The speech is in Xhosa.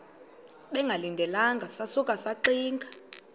bengalindelanga sasuka saxinga